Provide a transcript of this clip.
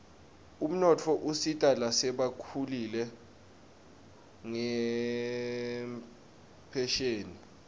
umnotfo usita lasebakhulile ngenphesheni